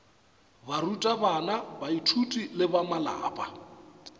barutabana baithuti le ba malapa